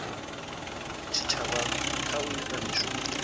tshitshavha kha u ita mishumo